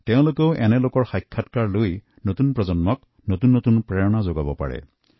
তেওঁলোকেও সফল ব্যক্তিত্বসকলৰ সাক্ষাৎকাৰ লৈ নতুন প্ৰজন্মক অনুপ্ৰাণিত কৰিব পাৰে